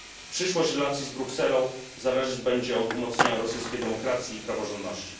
Przyszłość relacji z Brukselą zależeć będzie od umocnienia rosyjskiej demokracji i praworządności.